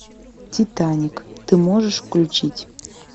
титаник ты можешь включить